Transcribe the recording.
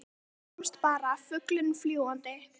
Yfir þá komst bara fuglinn fljúgandi.